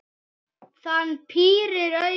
Hann pírir augun.